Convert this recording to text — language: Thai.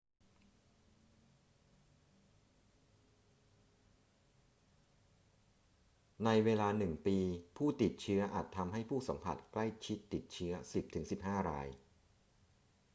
ในเวลาหนึ่งปี ผู้ติดเชื้ออาจทำให้ผู้สัมผัสใกล้ชิดติดเชื้อ 10 ถึง 15 ราย